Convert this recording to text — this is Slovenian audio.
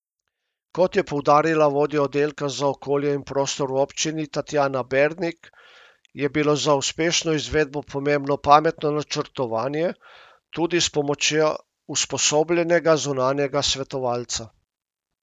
Kot je poudarila vodja oddelka za okolje in prostor v občini Tatjana Bernik, je bilo za uspešno izvedbo pomembno pametno načrtovanje, tudi s pomočjo usposobljenega zunanjega svetovalca.